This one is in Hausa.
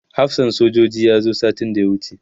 hafsan sojojin ya zo satin da ya wuce